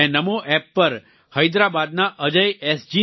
મેં નમો એપ પર હૈદરાબાદના અજય એસ